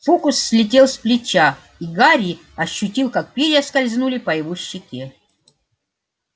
фокус слетел с плеча и гарри ощутил как перья скользнули по его щеке